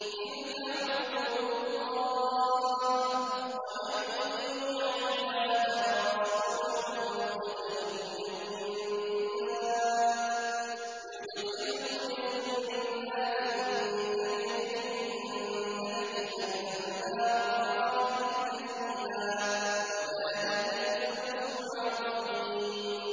تِلْكَ حُدُودُ اللَّهِ ۚ وَمَن يُطِعِ اللَّهَ وَرَسُولَهُ يُدْخِلْهُ جَنَّاتٍ تَجْرِي مِن تَحْتِهَا الْأَنْهَارُ خَالِدِينَ فِيهَا ۚ وَذَٰلِكَ الْفَوْزُ الْعَظِيمُ